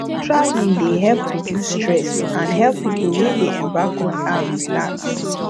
traveling dey help reduce stress and help people wey dey embark on am relax